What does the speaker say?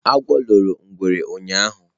Egwu loro ngwere ụnyahụ?